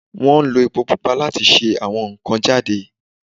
Wọ́n ń lo epo pupa láti se àwọn nkàn-an jade